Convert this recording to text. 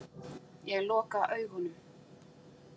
Ég loka augunum.